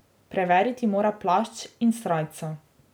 Preveriti mora plašč in srajco.